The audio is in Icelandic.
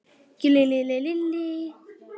Lillý: Fólk að spara?